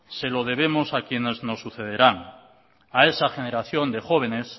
se lo debemos a quienes nos sucederán a esa generación de jóvenes